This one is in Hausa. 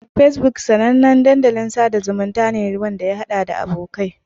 Facebook sanannen dandalin sada zumunta ne inda masu amfani za su iya haɗawa da abokai.